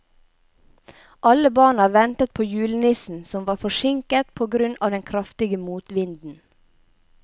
Alle barna ventet på julenissen, som var forsinket på grunn av den kraftige motvinden.